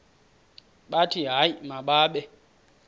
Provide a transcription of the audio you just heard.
bathi hayi mababe